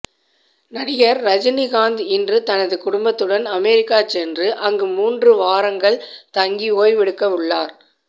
நடிகர் ரஜினிகாந்த் இன்று தனது குடும்பத்துடன் அமெரிக்கா சென்று அங்கு மூன்று வாரங்கள் தங்கி ஓய்வெடுக்க உள்ளார்